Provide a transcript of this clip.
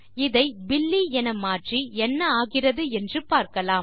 இதை பில்லி என மாற்றி என்ன ஆகிறது என்று பார்க்கலாம்